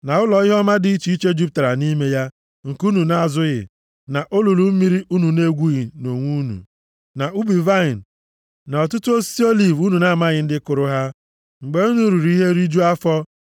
na ụlọ ihe ọma dị iche iche jupụtara nʼime ya nke unu na-azụghị, na olulu mmiri unu na-egwughị nʼonwe unu, na ubi vaịnị na ọtụtụ osisi oliv unu na-amaghị ndị kụrụ ha, mgbe unu riri ihe rijuo afọ,